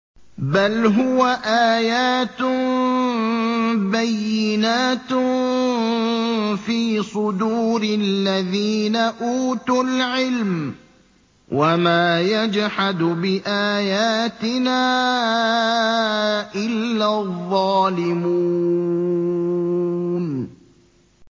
بَلْ هُوَ آيَاتٌ بَيِّنَاتٌ فِي صُدُورِ الَّذِينَ أُوتُوا الْعِلْمَ ۚ وَمَا يَجْحَدُ بِآيَاتِنَا إِلَّا الظَّالِمُونَ